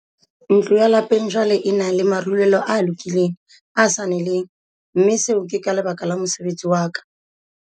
"Ntlo ya lapeng jwale e na le marulelo a lokileng, a sa neleng, mme seo ke ka lebaka la mosebetsi wa ka."